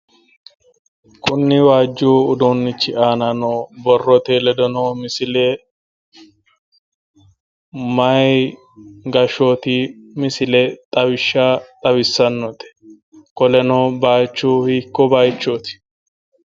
Kuni waajju uduunnichi aana noo borrote ledo noo misile maayii gashshooti misile xawishsha xawissannote? qoleno baayiichu hiikko baayiichooti?